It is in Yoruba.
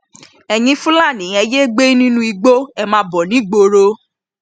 ẹyin fúlàní ẹ yéé gbé nínú igbó ẹ máa bọ nígboro